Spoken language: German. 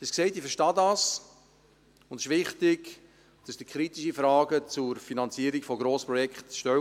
Ich habe es gesagt, ich verstehe dies, und es ist wichtig, dass Sie kritische Fragen zur Finanzierung von Grossprojekten stellen.